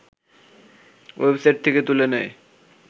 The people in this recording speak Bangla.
ওয়েবসাইট থেকে তুলে নেয়